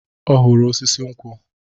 Ọ hụrụ osisi nkwụ.